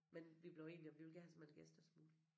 Men vi blev enige om vi ville gerne have så mange gæster som mulig